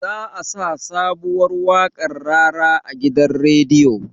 Za a sa sabuwar waƙar rara a gidan radio